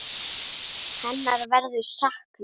Hennar verður saknað.